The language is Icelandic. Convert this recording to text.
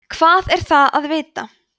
hvað er það að vita